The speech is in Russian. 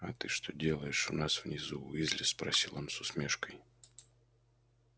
а ты что делаешь у нас внизу уизли спросил он с усмешкой